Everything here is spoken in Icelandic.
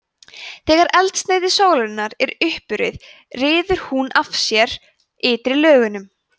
þegar eldsneyti sólarinnar er uppurið ryður hún af sér ytri lögunum